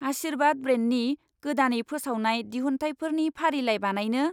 आशीर्वाद ब्रेन्डनि गोदानै फोसावनाय दिहुनथाइफोरनि फारिलाय बानायनो?